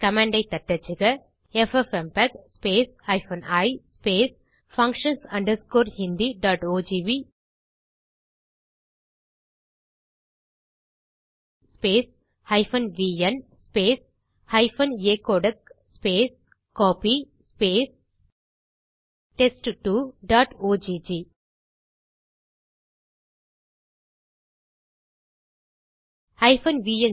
command ஐ தட்டச்சுக FFmpeg i functions hindiogv vn acodec copy test2ஒக்